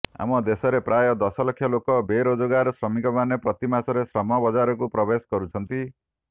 ଆମ ଦେଶରେ ପ୍ରାୟ ଦଶଲକ୍ଷ ଲୋକ ବେରୋଜଗାର ଶ୍ରମିକମାନେ ପ୍ରତି ମାସରେ ଶ୍ରମ ବଜାରକୁ ପ୍ରବେଶ କରୁଛନ୍ତି